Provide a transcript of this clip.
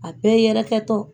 A bɛɛ yɛrɛkɛ tɔ.